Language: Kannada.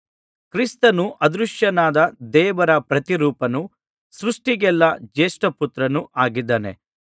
ಕ್ರಿಸ್ತನು ಅದೃಶ್ಯನಾದ ದೇವರ ಪ್ರತಿರೂಪನೂ ಸೃಷ್ಟಿಗೆಲ್ಲಾ ಜೇಷ್ಠಪುತ್ರನೂ ಆಗಿದ್ದಾನೆ